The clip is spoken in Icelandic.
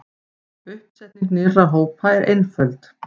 Uppsetning nýrra hópa er einföld.